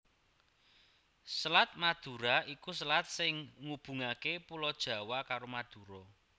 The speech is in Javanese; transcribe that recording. Selat Madura iku selat sing ngubungaké Pulo Jawa karo Madura